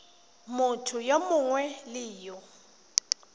motho yo mongwe le yo